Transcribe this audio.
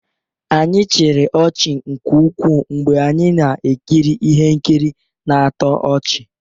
Anyị chịrị ọchị nke ukwuu mgbe anyị na-ekiri ihe nkiri na-atọ ọchị.